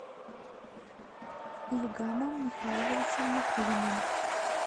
ильгамом михайловичем никулиным